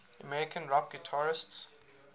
american rock guitarists